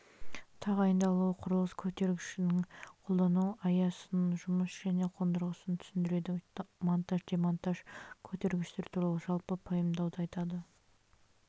тағайындалуы құрылыс көтергіштерінің қолдану аясын жұмыс және қондырғысын түсіндіреді монтаж демонтаж көтергіштер туралы жалпы пайымдауды айтады